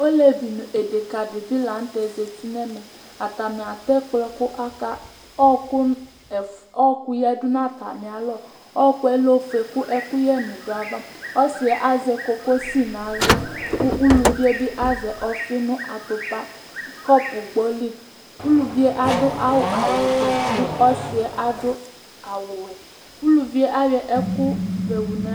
Ɔlevi nʋ deka dí bi la ntɛ zɛti nʋ ɛmɛ Atani atɛ ɛkplɔ kʋ ɔku yadu nʋ atami alɔ Ɔku lɛ ɔfʋe kʋ ɛkuyɛ ni du ayʋ ava Ɔsi azɛ kokosi nʋ aɣla kʋ ʋlʋvi bi azɛ ɔfi atupa, kɔpu gbɔ li Ʋlʋvi adu awu fʋe kʋ ɔsi yɛ adu awu wɛ Ʋlʋvi ayɔ ɛkʋ fʋe di